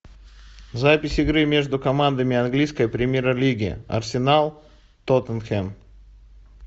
запись игры между командами английской премьер лиги арсенал тоттенхэм